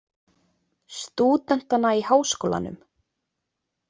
Stúdentana í Háskólanum.